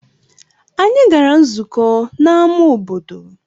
Anyị gara nzukọ n'ámá obodo.